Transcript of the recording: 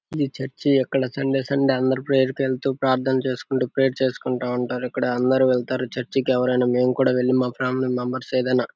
ఈ చర్చ్ అక్కడ Sunday Sunday అందరు ప్రేయర్ కేల్తూ ప్రార్థన చేసుకుంటూ ప్రేయర్ చేసుకుంటా ఉంటారు. ఇక్కడ అందరు వెళ్లారు. చర్చి కి ఎవరైనా మేము కూడా వెళ్లి మా ఫ్యామిలీ మెంబెర్స్ ఏదైనా --